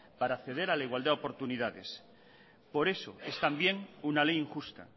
para acceder a la igualdad de oportunidad por eso es también una ley injusta